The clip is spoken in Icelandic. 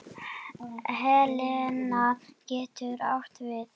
Helena getur átt við